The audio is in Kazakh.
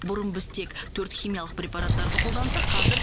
бұрын біз тек төрт химиялық препараттарды қолдансақ қазір